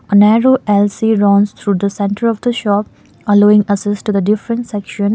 a narrow elsy runs through the centre of the shop allowing access to the different section.